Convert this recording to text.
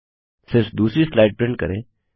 सिर्फ दूसरी slide print करें